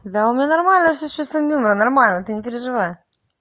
да у меня нормально всё с чувством юмора нормально ты не переживай